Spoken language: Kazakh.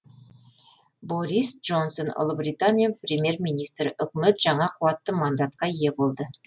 борис джонсон ұлыбритания премьер министрі үкімет жаңа қуатты мандатқа ие болды